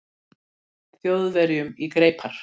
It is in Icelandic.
Þjóðverjum í greipar.